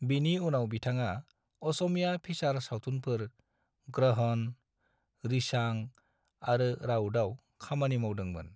बिनि उनाव बिथाङा असमिया फीसार सावथुनफोर ग्रहण, रिशांग आरो राउडआव खामानि मावदोंमोन।